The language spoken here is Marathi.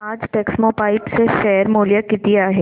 आज टेक्स्मोपाइप्स चे शेअर मूल्य किती आहे